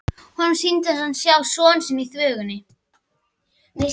Honum sýndist hann sjá son sinn í þvögunni.